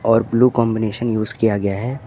और blue combination use किया गया है।